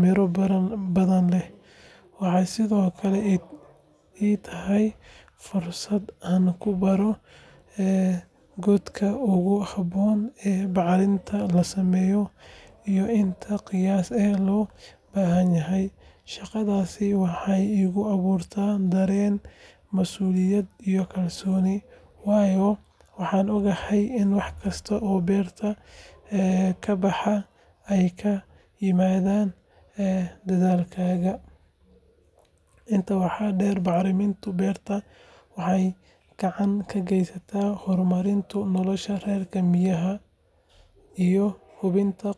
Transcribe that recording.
midho badan leh. Waxay sidoo kale ii tahay fursad aan ku barto goorta ugu habboon ee bacrinta la sameeyo iyo inta qiyaas ee loo baahan yahay. Shaqadaas waxay igu abuurtaa dareen masuuliyad iyo kalsooni, waayo waxaan ogahay in wax kasta oo beerta ka baxa ay ka yimaadeen dadaalkayga. Intaa waxaa dheer, bacriminta beerta waxay gacan ka geysataa horumarinta nolosha reer miyiga iyo hubinta in qoyska.